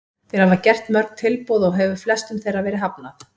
Þeir hafa gert mörg tilboð og hefur flestum þeirra verið hafnað.